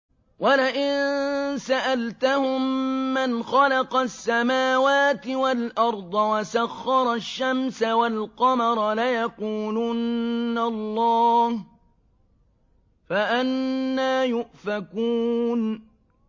وَلَئِن سَأَلْتَهُم مَّنْ خَلَقَ السَّمَاوَاتِ وَالْأَرْضَ وَسَخَّرَ الشَّمْسَ وَالْقَمَرَ لَيَقُولُنَّ اللَّهُ ۖ فَأَنَّىٰ يُؤْفَكُونَ